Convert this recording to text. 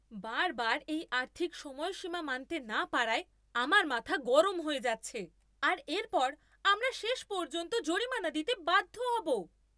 বারবার এই আর্থিক সময়সীমা মানতে না পারায় আমার মাথা গরম হয়ে যাচ্ছে আর এরপর আমরা শেষ পর্যন্ত জরিমানা দিতে বাধ্য হব!